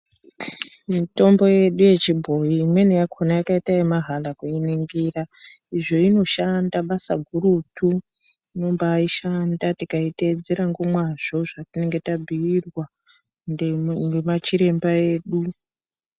Mitombo yedu yechibhoyi imweni yakona yakaita yemahala kuningira izvo inoshanda basa gurutu inombaishanda tikaitedzera ngomwazvo zvatinenge tabhuirwa ngemachiremba edu .